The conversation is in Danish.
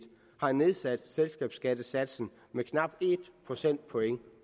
har nedsat selskabsskattesatsen med knap en procentpoint